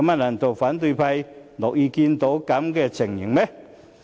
難道反對派議員樂見這種情形嗎？